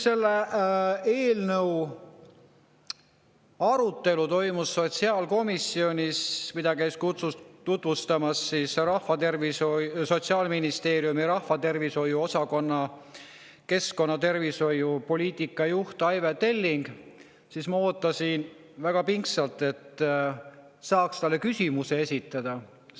Selle eelnõu arutelu ajal sotsiaalkomisjonis, kui Sotsiaalministeeriumi rahvatervishoiu osakonna keskkonnatervishoiu poliitika juht Aive Telling seda eelnõu meile tutvustas, ma ootasin väga pingsalt, et saaksin talle küsimuse esitada.